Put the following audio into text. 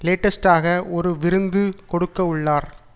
லேட்டஸ்டாக ஒரு விருந்து கொடுக்கவுள்ளார்